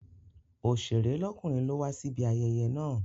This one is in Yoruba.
Oṣèré lọ́kùnrin ló wa síbi ayẹyẹ yẹn.